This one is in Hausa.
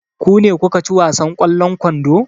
Ku ne kuka ci wasan ƙwallon kwando?